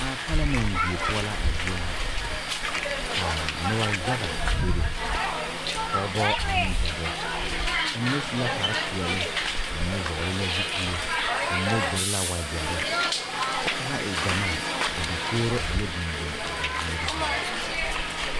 A palemɛte die poɔ la a zie ŋa ka noba yaga a bebe pɔgebɔ ane dɔbɔ ba mine su la kpare peɛle ka mine vɔgle zupili ba mine gyere la wagyere kyɛ ka ba e gyamaa ka dakogri yɔ biŋ biŋ a ba ziiri zaa.